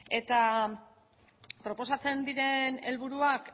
eta proposatzen diren helburuak